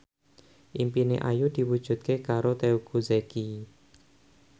impine Ayu diwujudke karo Teuku Zacky